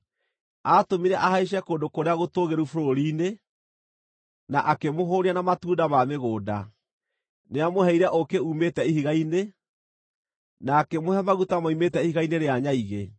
Atũmire ahaice kũndũ kũrĩa gũtũũgĩru bũrũri-inĩ, na akĩmũhũũnia na matunda ma mĩgũnda. Nĩamũheire ũũkĩ uumĩte ihiga-inĩ, na akĩmũhe maguta moimĩte ihiga-inĩ rĩa nyaigĩ;